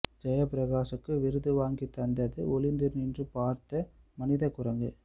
ஜெயபிரகாசுக்கு விருது வாங்கித் தந்தது ஒளிந்து நின்று பார்த்த மனிதக் குரங்கு